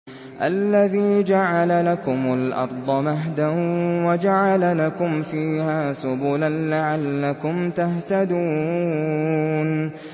الَّذِي جَعَلَ لَكُمُ الْأَرْضَ مَهْدًا وَجَعَلَ لَكُمْ فِيهَا سُبُلًا لَّعَلَّكُمْ تَهْتَدُونَ